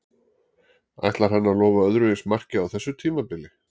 Ætlar hann að lofa öðru eins marki á þessu tímabili?